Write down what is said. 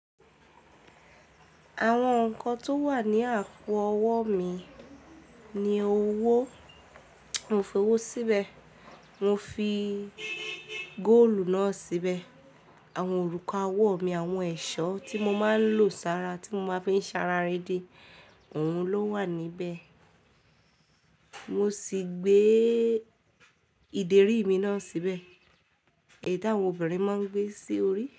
Àwọn nǹkan tó wà ní àpò ọwọ́ mi ni owó, mo fi owó síbẹ̀, mo fi góòlù náà síbẹ̀, àwọn òrùka ọwọ́ mi, àwọn ẹ̀ṣọ́ tí mo máa ń lò sára tí mo bá ń fẹ́ ṣara rede, òun ló wà níbẹ̀. Mo sì gbé ìdérí mi náà síbẹ̀. Èyí tí àwọn obìnrin máa ń gbé sí orí.